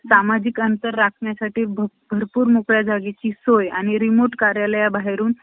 ध्येय पथावरील व्यक्तीच्या दृढ निश्चय बाळगणाऱ्यातल्या टळत~ टळत नाही. अण्णा तसे होते. कालांतराने वातावरण निवळले आणि पण,